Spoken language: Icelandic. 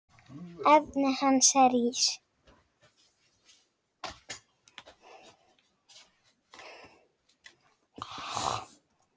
Efnið hans er ís.